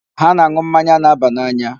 Ha na-aṅụ mmanya na-aba n'anya.